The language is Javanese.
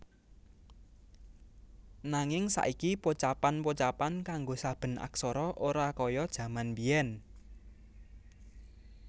Nanging saiki pocapan pocapan kanggo saben aksara ora kaya jaman biyèn